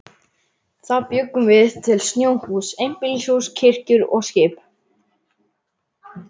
Þá bjuggum við til snjóhús, einbýlishús, kirkjur og skip.